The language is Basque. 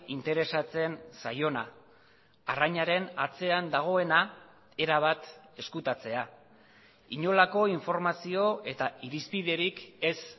interesatzen zaiona arrainaren atzean dagoena erabat ezkutatzea inolako informazio eta irizpiderik ez